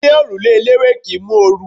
Ilé òrùlé eléwé kì ń mú oru.